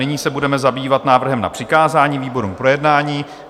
Nyní se budeme zabývat návrhem na přikázání výborům k projednání.